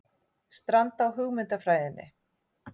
Stranda á hugmyndafræðinni